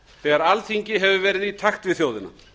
þegar alþingi hefur verið í takt við þjóðina